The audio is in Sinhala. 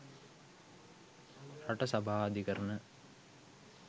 රට සභා අධිකරණ